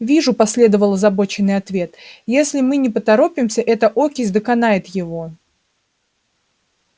вижу последовал озабоченный ответ если мы не поторопимся эта окись доконает его